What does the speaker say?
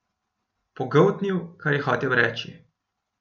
Pogoltnil, kar je hotel reči.